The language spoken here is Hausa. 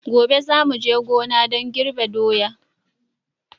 Gobe za mu je gona don girbi su daya.